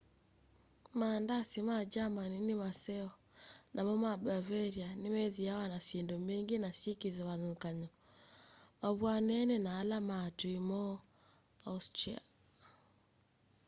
maandasi ma germany ni maseo namo ma bavaria nimethiawa na syindu mbingi na syikivathukany'o mavw'anene na ala ma atui moo austria